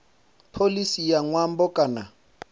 pholisi ya nyambo kha